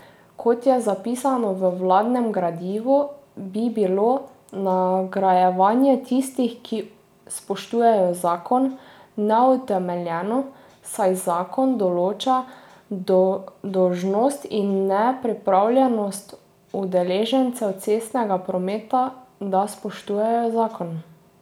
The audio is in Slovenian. Kot je zapisano v vladnem gradivu, bi bilo nagrajevanje tistih, ki spoštujejo zakon, neutemeljeno, saj zakon določa dolžnost in ne pripravljenosti udeležencev cestnega prometa, da spoštujejo zakon.